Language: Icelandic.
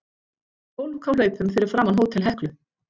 Fólk á hlaupum fyrir framan Hótel Heklu.